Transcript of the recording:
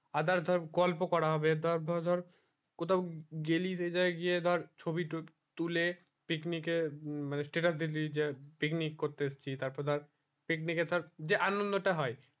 other ধর গল্প করা হবে তারপরে ধর কোথাও গেলি রেজায় গিয়ে ধর ছবি তুলে picnic এ মানে status দিলি যে picnic করতে এসেছি তার পর ধর picnic এ ধর যে আনন্দ টা হয়